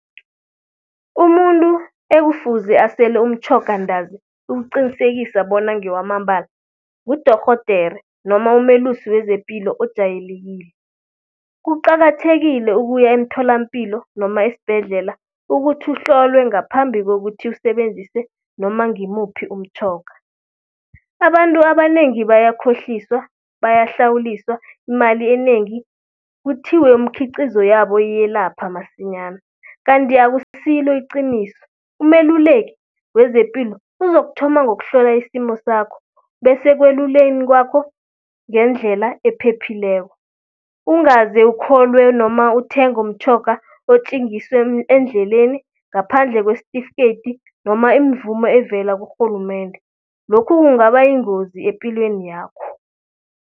Umuntu ekufuze asele umtjhoga ntazi ukuqinisekisa bona ngewamambala ngudorhodere noma umelusi wezepilo ojayelekile. Kuqakathekile ukuya emtholampilo noma esbhedlela ukuthi uhlolwe ngaphambi kokuthi usebenzise noma ngimuphi umtjhoga. Abantu abanengi bayakhohliswa, bayahlawuliswa imali enengi, kuthiwe umkhiqizo yabo iyelapha masinyana. Kanti akusilo iqiniso, umeluleki wezepilo uzokuthoma ngokuhlola isimo sakho. Bese ekweluleni kwakho ngendlela ephephileko. Ungaze ukholwe noma uthenge umtjhoga otjengiswe endleleni ngaphandle kwesitifikedi noma imvumo evela kurhulumende. Lokhu kungaba yingozi epilweni yakho.